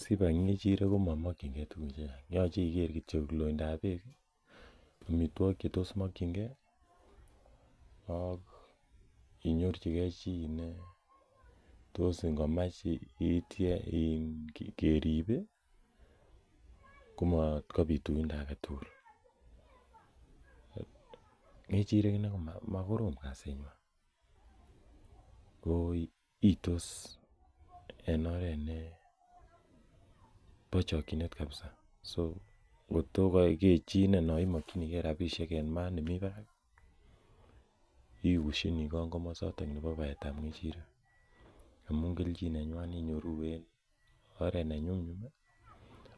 Sibai ng'echirek komomokyin gee tuguk chechang yoche iker kityok loindab beek ih amitwogik che tos mokyingee gee ak inyorchigee chi netos ngomach ityach kerib ih komatkobit uindo aketugul ng'echirek inei komakorom kasit nywan ko iytos en oret nebo chokyinet kabisa so kot ko ke chii inei non imokyingee rapisiek en maat nemii barak ikushinii kong komosoton nebo baet ab ng'echirek amun kelchin nenywan inyoruu en oret nenyumnyum ak